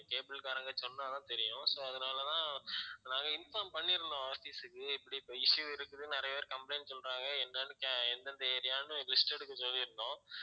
cable காரங்க சொன்னா தான் தெரியும் so அதனால தான் நாங்க inform பண்ணியிருந்தோம் office க்கு இப்படி இப்ப issue இருக்குது நிறைய பேர் complaint சொல்றாங்க என்னன்னு கே~ எந்தெந்த area ன்னு list எடுக்க சொல்லியிருந்தோம்